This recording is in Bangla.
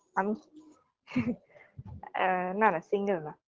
আমি আ না না single না